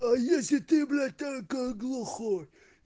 а если ты блять только глухой